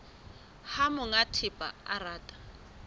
ha monga thepa a rata